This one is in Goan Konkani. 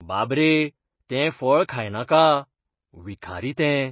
बाब रे, तें फळ खायनाका. विखारी तें.